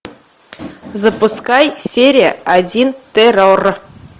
запускай серия один террор